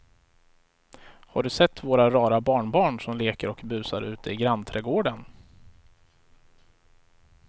Har du sett våra rara barnbarn som leker och busar ute i grannträdgården!